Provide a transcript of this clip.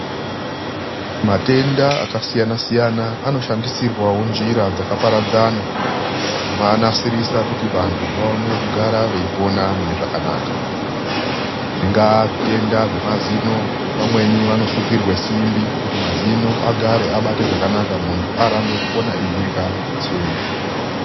Matenda akasiyana-siyana anoshandisirwawo njira dzakaparadzana. Kumanasirisa kuti vanthu vaone kugara veipona mune zvakanaka. Zvingaa zvitenda zvemazino, pamweni vanosungirwa simbi kuti mazino agare, abate zvakanaka munthu arambe kukona eirya nekutsenga.